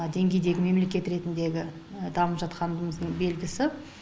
деңгейдегі мемлекет ретіндегі дамып жатқанымыздың белгісі